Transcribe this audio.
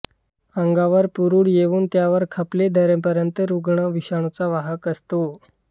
अंगावर पुरळ येऊन त्यावर खपली धरेपर्यंत रुग्ण विषाणूचा वाहक असतो